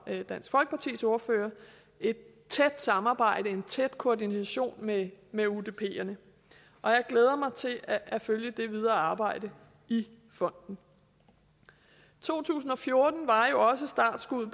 dansk folkepartis ordfører et tæt samarbejde en tæt koordination med med udperne og jeg glæder mig til at følge det videre arbejde i fonden to tusind og fjorten var jo også startskuddet